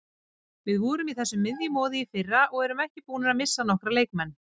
Við vorum í þessu miðjumoði í fyrra og erum búnir að missa nokkra leikmenn.